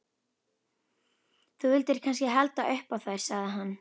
Þú vildir kannski halda upp á þær, sagði hann.